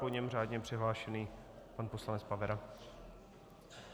Po něm řádně přihlášený pan poslanec Pavera.